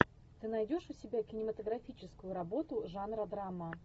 ты найдешь у себя кинематографическую работу жанра драма